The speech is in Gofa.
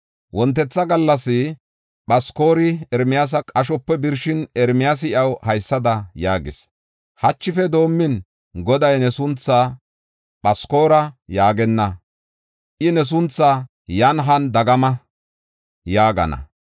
Wontetha gallas Phaskori Ermiyaasa qashope birshin, Ermiyaasi iyaw haysada yaagis: “Hachife doomin, Goday ne sunthaa Phaskori yaagenna; I ne sunthaa ‘Yan Han Dagama’ yaagana.